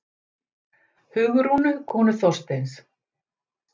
Hugrúnu, konu Þorsteins.